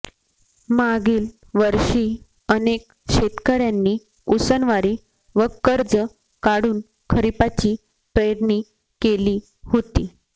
मागील वर्षी अनेक शेतकऱ्यांनी उसनवारी व कर्ज काढून खरिपाची पेरणी केली होती